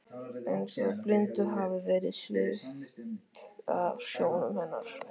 Eins og blindu hafi verið svipt af sjónum hennar.